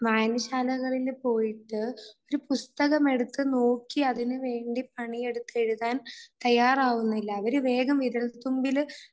വായനശാലകളിൽ പോയിട്ട് ഒരു പുസ്തകം എടുത്തു നോക്കി അതിനു വേണ്ടി പണിയെടുത്ത് എഴുതാൻ തയ്യാറാവുന്നില്ല. അവരെ വേഗം വിരൽത്തുമ്പിൽ